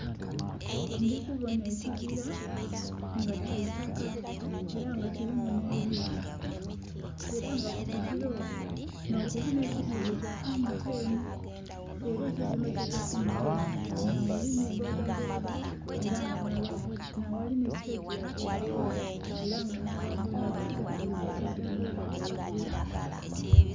Ndhi kubonha ekigila nga kya itaka ela nga kilimu nh'ebiinha, ela nga ku kigila okwo nh'okuli nh'ekizimbe kya MTN. Era ekizimbe ekyo ekya MTN nh'aghali ni bodaboda. Ela nga naghali ni sitegi ya bodaboda era nga nh'aba bodaboda bali ku bodaboda dhaibwe.